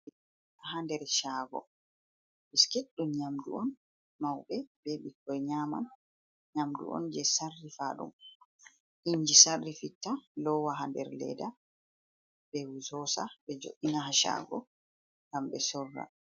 Ha nder shaago, biskit ɗum nyamdu on mauɓe be ɓikkoi nyama, nyamdu on jei sarrifa ɗum inji sarrifitta lowa ha nder leeda be sosa ɓe jooɗina shaago ngam ɓe sorra.